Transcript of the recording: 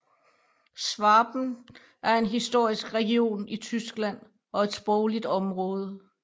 Schwaben er en historisk region i Tyskland og et sprogligt område